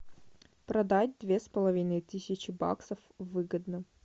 продать две с половиной тысячи баксов выгодно